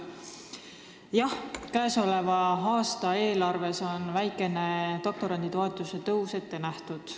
Jah, käesoleva aasta eelarves on väikene doktoranditoetuse tõus ette nähtud.